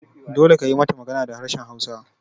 Dole kayi mata magana da harshen hausa!